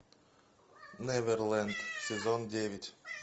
неверлэнд сезон девять